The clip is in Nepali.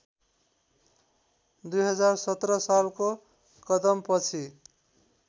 २०१७ सालको कदमपछि